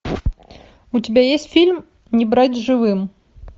у тебя есть фильм не брать живым